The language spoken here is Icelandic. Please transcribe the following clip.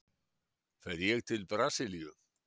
Fer ég til Brasilíu?